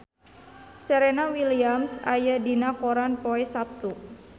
Serena Williams aya dina koran poe Saptu